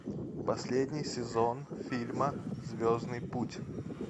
последний сезон фильма звездный путь